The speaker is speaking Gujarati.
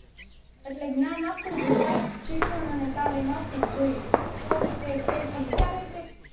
એટલે જ્ઞાન આપવું જોઈએ એમ શિક્ષણ અને તાલીમ આપવીજ જોઈએ તો તે ખેતી